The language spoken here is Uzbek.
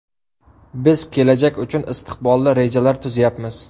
Biz kelajak uchun istiqbolli rejalar tuzayapmiz.